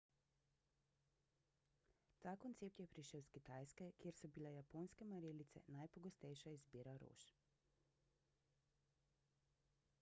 ta koncept je prišel s kitajske kjer so bile japonske marelice najpogostejša izbira rož